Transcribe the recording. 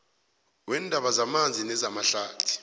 weendaba zamanzi nezamahlathi